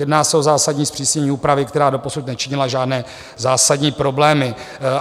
Jedná se o zásadní zpřísnění úpravy, která doposud nečinila žádné zásadní problémy.